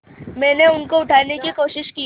मैंने उनको उठाने की कोशिश की